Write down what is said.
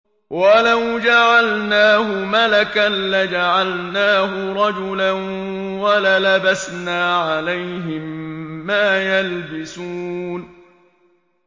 وَلَوْ جَعَلْنَاهُ مَلَكًا لَّجَعَلْنَاهُ رَجُلًا وَلَلَبَسْنَا عَلَيْهِم مَّا يَلْبِسُونَ